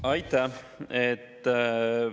Aitäh!